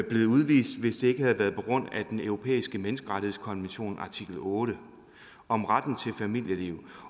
blevet udvist hvis det ikke havde været på grund af den europæiske menneskerettighedskonventions artikel otte om retten til et familieliv